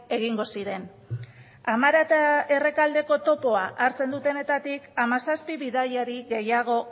egingo ziren amara eta errekaldeko topoa hartzen dutenetatik hamazazpi bidaiari gehiago